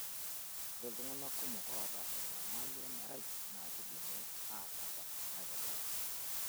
Ore iltung'ana kumok oota enyamali emerai naa keidimi aatabak aitobiraki.